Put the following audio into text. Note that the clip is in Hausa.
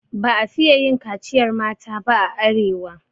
Ba a fiye yin kaciyar mata ba a arewa.